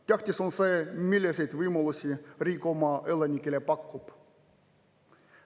Tähtis on see, milliseid võimalusi riik oma elanikele pakub.